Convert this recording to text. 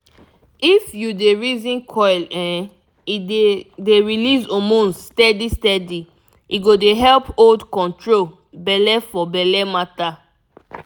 if u dey reason coil um e dey dey release hormones steady steady e go dey help hold control belle for belle matter